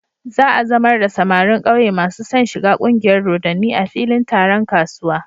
Za a zamar da samarin ƙauye masu son shiga ƙungiyar dodanni a filin taron kasuwa.